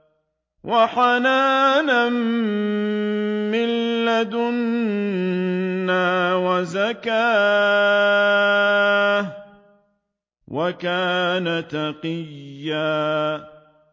وَحَنَانًا مِّن لَّدُنَّا وَزَكَاةً ۖ وَكَانَ تَقِيًّا